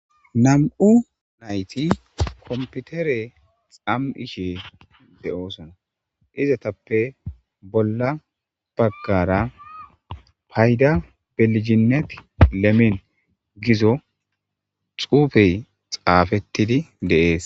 nam7u nayti komputere xam7ishe de7oosona izatappe bolla baggara payda belijinet lemen gizo xuufey xaafettidi deees